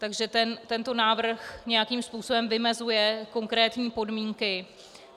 Takže tento návrh nějakým způsobem vymezuje konkrétní podmínky.